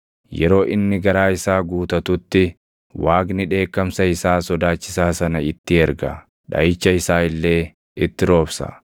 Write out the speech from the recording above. Yeroo inni garaa isaa guutatutti, Waaqni dheekkamsa isaa sodaachisaa sana itti erga; dhaʼicha isaa illee itti roobsa.